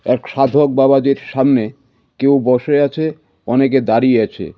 এক সাধক বাবাজির সামনে কেউ বসে আছে অনেকে দাঁড়িয়ে আছে.